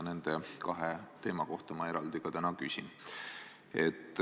Nende kahe teema kohta ma eraldi ka täna küsin.